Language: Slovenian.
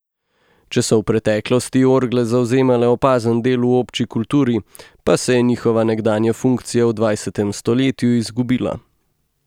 Če so v preteklosti orgle zavzemale opazen del v obči kulturi, pa se je njihova nekdanja funkcija v dvajsetem stoletju izgubila.